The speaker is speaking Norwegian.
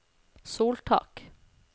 soltak